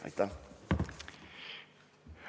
Aitäh!